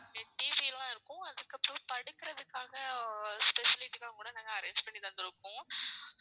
TV எல்லாம் இருக்கும். அதுக்கப்பறம் படுக்கறதுக்காக facility எல்லாம் கூட நாங்க arrange பண்ணிதந்துருக்கோம்.